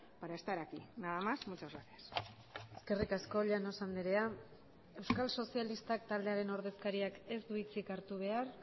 para estar aquí nada más muchas gracias eskerrik asko llanos andrea euskal sozialistak taldearen ordezkariak ez du hitzik hartu behar